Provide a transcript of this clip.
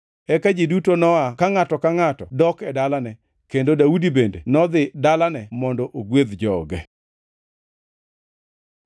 Eka ji duto noa ka ngʼato ka ngʼato dok e dalane, kendo Daudi bende nodhi dalane mondo ogwedh joge.